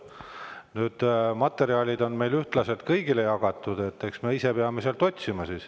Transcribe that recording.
Need materjalid on ühtlaselt kõigile jagatud, eks me ise peame sealt otsima.